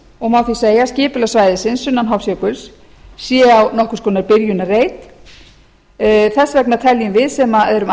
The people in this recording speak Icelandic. og má því segja að skipulag svæðisins sunnan hofsjökuls sé á nokkurs konar byrjunarreit þess vegna teljum við sem erum